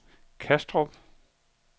Kastrup